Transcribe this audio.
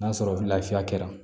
N'a sɔrɔ lafiya kɛra